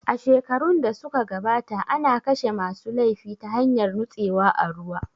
A shekarun da su ka gabata ana kashe ma su laifi ta hanyar nutsewa a ruwa